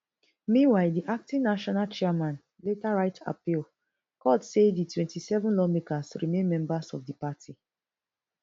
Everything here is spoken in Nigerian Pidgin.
meanwhile di acting national chairman later write appeal court say di twenty-seven lawmakers remain members of di party